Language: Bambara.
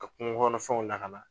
Ka kungo kɔnɔ fɛnw lakana.